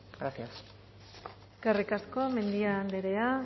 gracias eskerrik asko mendia andrea